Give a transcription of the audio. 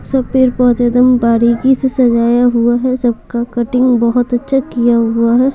सब पेड़ पौधे एकदम बारीकी से सजाया हुआ है सबका कटिंग बहुत अच्छा किया हुआ है।